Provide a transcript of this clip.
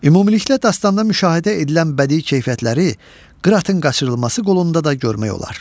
Ümumilikdə dastanda müşahidə edilən bədii keyfiyyətləri “Qıratın qaçırılması” qolunda da görmək olar.